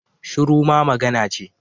Shiru ma magana ce